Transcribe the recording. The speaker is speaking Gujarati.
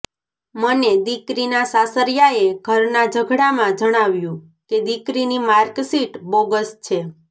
મને દિકરીના સાસરીયાએ ઘરના ઝઘડામાં જણાવ્યું કે દિકરીની માર્કશીટ બોગસ છે